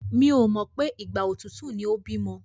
Mi ò mọ̀ pé ìgbà òtútù ni ó bímọ.